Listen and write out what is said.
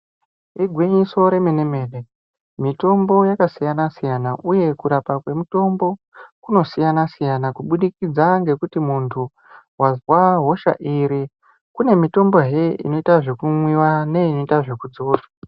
Igwinyiso remene mene mitombo yakasiyana siyana uye kurapa kwemitimbo kunosiyana siyana kubudikidza ngekuti muntu wazwa hosha iri kune mitombhe inoita zvekumwiwa neinoita zvekudzidzwa.